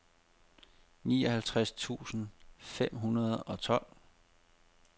nioghalvtreds tusind fem hundrede og tolv